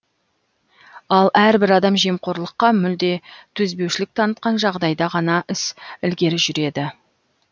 ал әрбір адам жемқорлыққа мүлде төзбеушілік танытқан жағдайда ғана іс ілгері жүреді